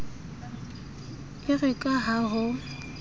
e re ka ha ho